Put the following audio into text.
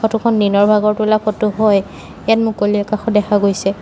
Photo খন দিনৰ ভাগৰ তোলা ফটো হয় ইয়াত মুকলি আকাশো দেখা গৈছে।